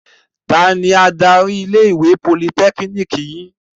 Tani adarí ilé-ìwé Politẹ́kínìkì yín?